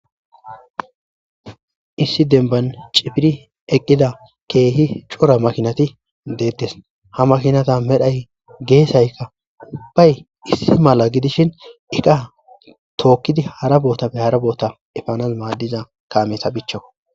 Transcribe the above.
Issi dembban cifiri eqqiza keehi cora makiinati deetes. Ha makinata medhdhay, geesaykka ubbay issi mala gidishin iqa tookidi hara bootappe hara boota efanas maadiza kaameta bichchakko.